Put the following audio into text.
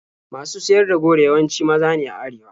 Masu siyar da goro yawanci maza ne a arewa.